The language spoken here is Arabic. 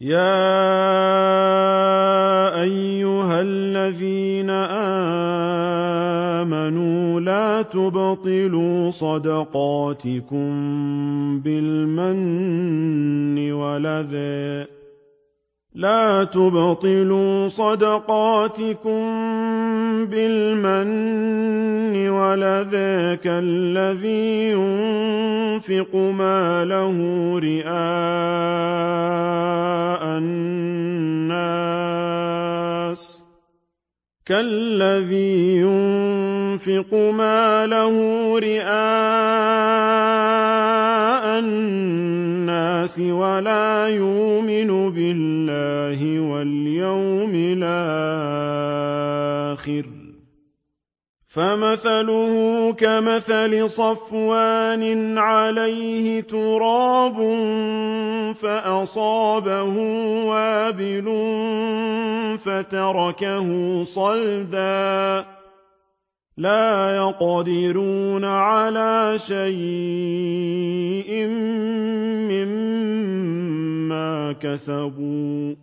يَا أَيُّهَا الَّذِينَ آمَنُوا لَا تُبْطِلُوا صَدَقَاتِكُم بِالْمَنِّ وَالْأَذَىٰ كَالَّذِي يُنفِقُ مَالَهُ رِئَاءَ النَّاسِ وَلَا يُؤْمِنُ بِاللَّهِ وَالْيَوْمِ الْآخِرِ ۖ فَمَثَلُهُ كَمَثَلِ صَفْوَانٍ عَلَيْهِ تُرَابٌ فَأَصَابَهُ وَابِلٌ فَتَرَكَهُ صَلْدًا ۖ لَّا يَقْدِرُونَ عَلَىٰ شَيْءٍ مِّمَّا كَسَبُوا ۗ